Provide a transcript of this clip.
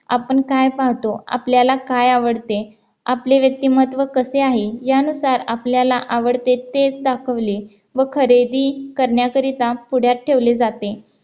आपण काय पाहतो? आपल्याला काय आवडते? आपले व्यक्तिमत्व कसे आहे? यानुसार आपल्याला आवडते तेच दाखवले व खरेदी करण्याकरिता पुण्यात ठेवले जाते